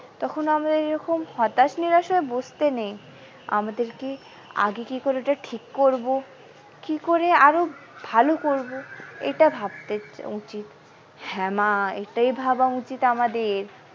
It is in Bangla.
তখন আমরা এরকম হতাশ নিরাশ হয়ে বসতে নেই আমাদেরকে আগে কি করে ওটা ঠিক করবো কি করে আরো ভালো করবো এটা ভাবতে উচিত হ্যাঁ মা এটাই ভাবা উচিত আমাদের।